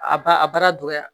A ba a baara dɔgɔya